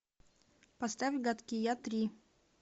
поставь гадкий я три